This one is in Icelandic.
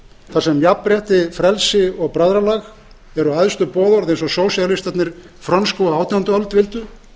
þar sem jafnrétti frelsi og bræðralag eru æðstu boðorð eins og frönsku sósíalistarnir á átjándu öld vildu